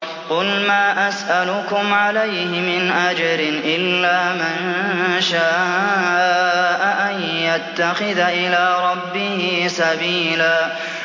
قُلْ مَا أَسْأَلُكُمْ عَلَيْهِ مِنْ أَجْرٍ إِلَّا مَن شَاءَ أَن يَتَّخِذَ إِلَىٰ رَبِّهِ سَبِيلًا